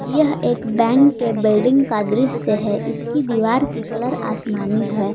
यह एक बैंक के बिल्डिंग का दृश्य है इसकी दीवार की कलर आसमानी है।